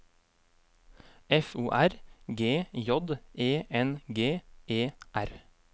F O R G J E N G E R